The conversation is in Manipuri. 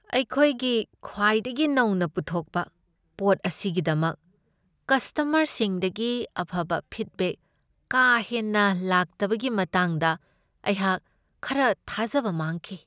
ꯑꯩꯈꯣꯏꯒꯤ ꯈ꯭ꯋꯥꯏꯗꯒꯤ ꯅꯧꯅ ꯄꯨꯊꯣꯛꯄ ꯄꯣꯠ ꯑꯁꯤꯒꯤꯗꯃꯛ ꯀꯁꯇꯃꯔꯁꯤꯡꯗꯒꯤ ꯑꯐꯕ ꯐꯤꯗꯕꯦꯛ ꯀꯥ ꯍꯦꯟꯅ ꯂꯥꯛꯇꯕꯒꯤ ꯃꯇꯥꯡꯗ ꯑꯩꯍꯥꯛ ꯈꯔ ꯊꯥꯖꯕ ꯃꯥꯡꯈꯤ ꯫